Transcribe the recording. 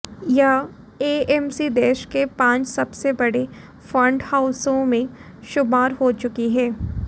यह एएमसी देश के पांच सबसे बड़े फंड हाउसों में शुमार हो चुकी है